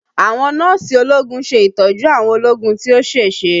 Àwọn Nọ́ọ̀sì ológun ṣe ìtọ́jú àwọn ológun tí ó ṣèṣe